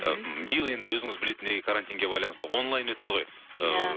ы биыл енді өзіңіз білетіндей карантинге байланысты онлайн өтті ғой иә